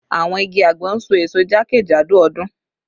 Awọn igi agbon n so eso jakejado ọdun